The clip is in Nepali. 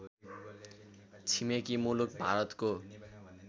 छिमेकी मुलुक भारतको